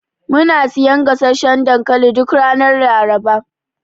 Muna siyan gasasshan dankali duk ranar Laraba.